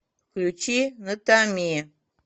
включи натами